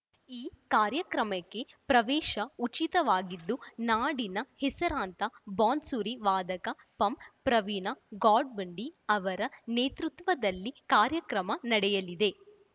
ಈ ಕಾರ್ಯಕ್ರಮಕ್ಕೆ ಪ್ರವೇಶ ಉಚಿತವಾಗಿದ್ದು ನಾಡಿನ ಹೆಸರಾಂತ ಬಾನ್ಸುರಿ ವಾದಕ ಪಂ ಪ್ರವೀಣ ಗೋಡ್ಖಿಂಡಿ ಅವರ ನೇತ್ರತ್ವದಲ್ಲಿ ಕಾರ್ಯಕ್ರಮ ನಡೆಯಲಿದೆ